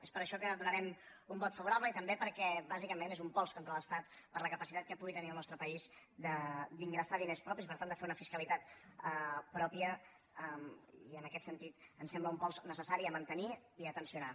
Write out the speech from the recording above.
és per això que hi donarem un vot favorable i també perquè bàsicament és un pols contra l’estat per la capacitat que pugui tenir el nostre país d’ingressar diners propis i per tant de fer una fiscalitat pròpia i en aquest sentit ens sembla un pols necessari a mantenir i a tensionar